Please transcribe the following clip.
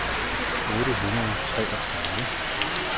otte hundrede og tredive